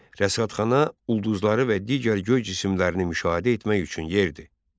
Rəsədxana ulduzları və digər göy cisimlərini müşahidə etmək üçün yer idi.